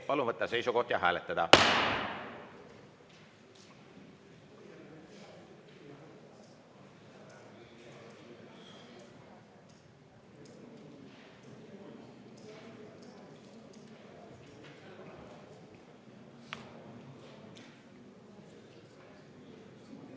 Palun võtta seisukoht ja hääletada!